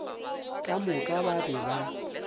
ka moka ba be ba